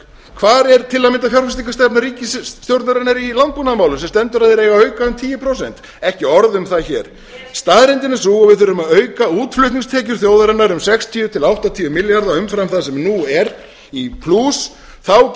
hvar er til að mynda fjárfestingarstefna ríkisstjórnarinnar í landbúnaðarmálum sem stendur að þeir eigi að auka um tíu prósent ekki orð um það hér staðreyndin er sú að við þurfum að auka útflutningstekjur þjóðarinnar um sextíu til áttatíu milljarða umfram það sem nú er í plús þá